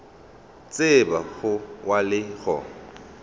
tseba go wa le go